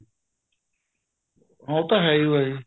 ਹਾਂ ਉਹ ਤਾਂ ਹੈ ਓ ਆ ਜੀ